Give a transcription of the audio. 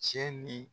Cɛ ni